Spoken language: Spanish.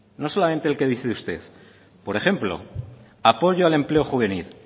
no solamente el que dice usted por ejemplo apoyo al empleo juvenil